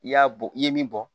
I y'a bɔ i ye min bɔ